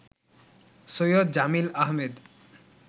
Syed Jamil Ahmed